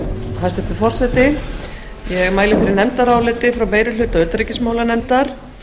hæstvirtur forseti ég mæli fyrir nefndaráliti frá meiri hluta utanríkismálanefndar